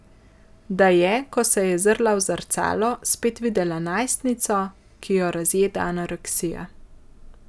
Da je, ko se je zazrla v zrcalo, spet videla najstnico, ki jo razjeda anoreksija.